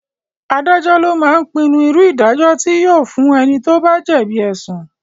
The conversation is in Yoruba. Adájọ́ lo máa ń pinnu irú ìdájọ́ tí yóò fún ẹni tí ó bá jẹ̀bi ẹ̀sùn